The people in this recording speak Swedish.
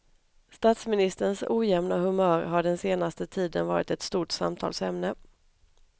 Statsministerns ojämna humör har den senaste tiden varit ett stort samtalsämne.